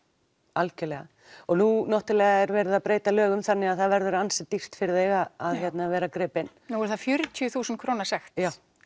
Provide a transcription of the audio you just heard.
algjörlega og nú er verið að breyta lögum þannig það verður ansi dýrt fyrir þig að vera gripinn nú er það fjörutíu þúsund króna sekt